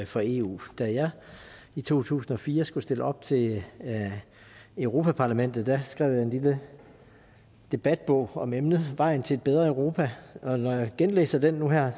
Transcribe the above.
for eu da jeg i to tusind og fire skulle stille op til europa parlamentet skrev jeg en lille debatbog om emnet vejen til et bedre europa og når jeg genlæser den nu og her